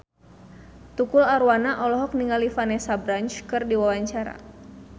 Tukul Arwana olohok ningali Vanessa Branch keur diwawancara